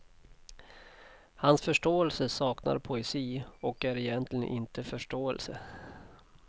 Hans förståelse saknar poesi, och är egentligen inte förståelse.